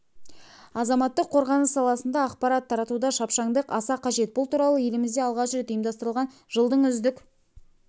азаматтық қорғаныс саласында ақпарат таратуда шапшаңдық аса қажет бұл туралы елімізде алғаш рет ұйымдастырылған жылдың үздік